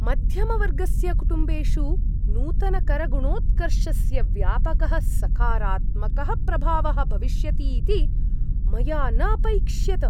मध्यमवर्गस्य कुटुम्बेषु नूतनकरगुणोत्कर्षस्य व्यापकः सकारात्मकः प्रभावः भविष्यति इति मया न अपैक्ष्यत।